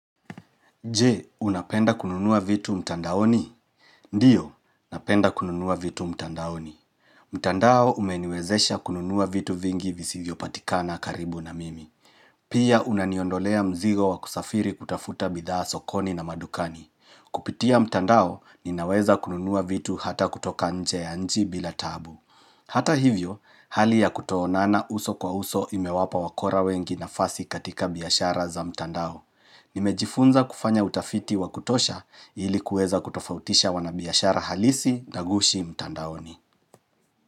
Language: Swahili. Je, unapenda kununua vitu mtandaoni? Ndio, napenda kununua vitu mtandaoni. Mtandao umeniwezesha kununua vitu vingi visivyopatikana karibu na mimi. Pia unaniondolea mzigo wa kusafiri kutafuta bidhaa sokoni na madukani. Kupitia mtandao ninaweza kununua vitu hata kutoka nje ya nchi bila taabu. Hata hivyo, hali ya kutoonana uso kwa uso imewapa wakora wengi na fasi katika biashara za mtandao. Nimejifunza kufanya utafiti wa kutosha ilikuweza kutofautisha wanabiashara halisi na ghushi mtandaoni.